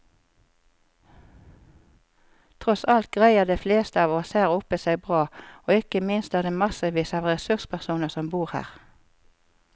Tross alt greier de fleste av oss her oppe seg bra, og ikke minst er det massevis av ressurspersoner som bor her.